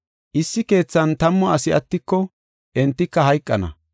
Issi keethan tammu asi attiko, entika hayqana.